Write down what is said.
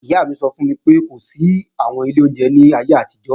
Ìyá mi sọ fún mi pé kò sí àwọn ilé oúnjẹ láyé àtijọ́